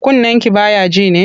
Kunnenki ba ya ji ne?